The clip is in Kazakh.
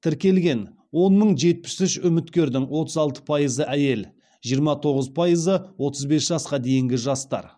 тіркелген он мың жетіп үш үміткердің отыз алты пайызы әйел жиырма тоғыз пайызы отыз бес жасқа дейінгі жастар